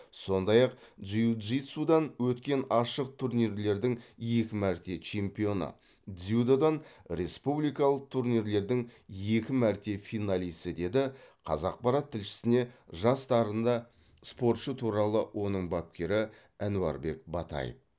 сондай ақ джиу джитсудан өткен ашық турнирлердің екі мәрте чемпионы дзюдодан республикалық турнирлердің екі мәрте финалисі деді қазақпарат тілшісіне жас дарынды спортшы туралы оның бапкері әнуарбек батай